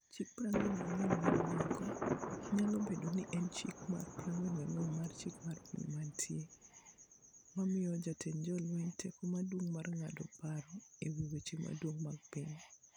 Chik 44 mag Nyako' nyalo bedo ni en Chik mar 44 mar Chik mar Piny Mantie, mamiyo jatend jolweny teko maduong' mar ng'ado paro e wi weche madongo mag piny.